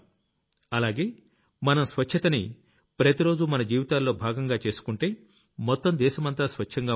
అలాగే మనం స్వచ్ఛతని ప్రతిరోజూ మన జీవితాల్లో భాగంగా చేసుకుంటే మొత్తం దేశమంతా స్వచ్ఛంగా ఉంటుంది